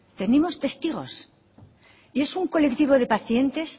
tenemos testigos y es un colectivo de pacientes